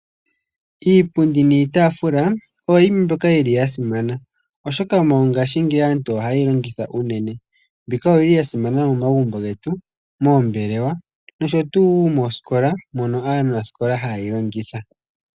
Iipundi niitaafula, oyo yimwe mbyoka yi li ya simana, oshoka mongaashingeyi aantu oha ye yi longitha unene. Mbika oyi li ya simana momagumbo getu, moombelewa nosho tuu moosikola mono aanasikola haa yi longitha.